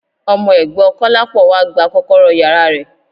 Ọmọ ẹ̀gbọ́ Kọ́lápọ̀ wá gba kọ́kọ́rọ́ yàrá rẹ̀.